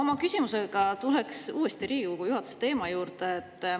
Aga küsimuses tulen ma uuesti Riigikogu juhatuse teema juurde.